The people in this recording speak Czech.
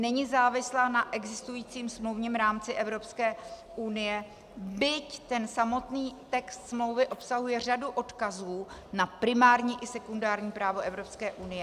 Není závislá na existujícím smluvním rámci Evropské unie, byť ten samotný text smlouvy obsahuje řadu odkazů na primární i sekundární právo Evropské unie.